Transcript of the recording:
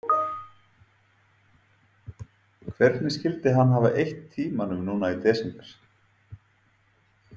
Hvernig skyldi hann hafa eytt tímanum núna í desember?